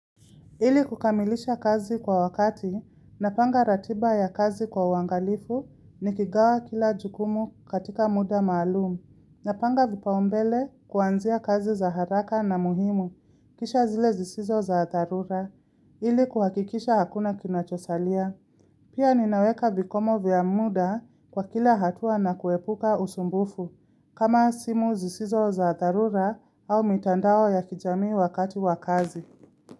Ili kukamilisha kazi kwa wakati, napanga ratiba ya kazi kwa uangalifu ni kigawa kila jukumu katika muda maalumu, napanga vipaumbele kuanzia kazi za haraka na muhimu, kisha zile zisizo za dharura, ili kuhakikisha hakuna kinachosalia. Pia ninaweka vikomo vya muda kwa kila hatua na kuepuka usumbufu, kama simu zisizo za darura au mitandao ya kijami wakati wakazi.